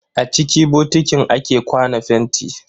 A ciki bokitin ake kwana fenti.